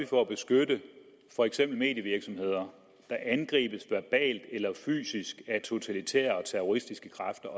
for at beskytte for eksempel medievirksomheder der angribes verbalt eller fysisk af totalitære og terroristiske kræfter